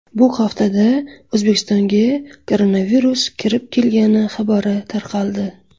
Bu haftada O‘zbekistonga koronavirus kirib kelgani xabari tarqaldi.